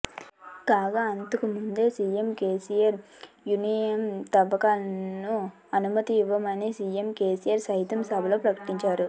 కాగా అంతకు ముందే సీఎం కేసిఆర్ యురేనియం తవ్వకాలను ఆనుమతి ఇవ్వమని సీఎం కేసిఆర్ సైతం సభలో ప్రకటించారు